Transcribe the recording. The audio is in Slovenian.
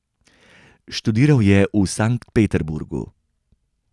Študiral je v Sankt Peterburgu.